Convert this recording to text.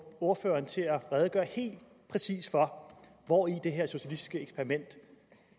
ordføreren til at redegøre helt præcist for hvori det her socialistiske eksperiment